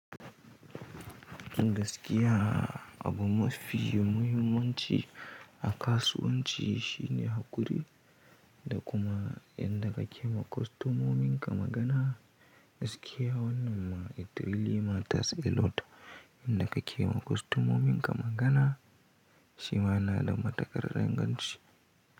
Dan gaskiya abu mafi muhimmanci a kasuwanci, shine haƙuri, da kuma yanda kake ma kwastomomin ka magana, gaskiya wannan ma it really matters a lot, yanda kake ma kwastomomin ka magana shi ma yana da matukar inganci.